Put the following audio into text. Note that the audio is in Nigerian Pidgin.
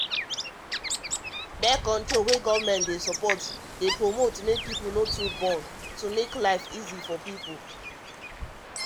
birth-control wey government support dey promote make people no too born to make life easy for peoplei swear